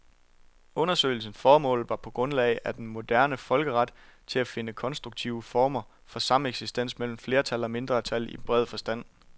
Undersøgelsens formål var på grundlag af den moderne folkeret at finde konstruktive former for sameksistens mellem flertal og mindretal i bred forstand.